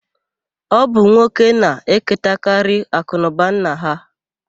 Ọ bụ ụmụnwoke na-eketekarị akụnụba nna ha.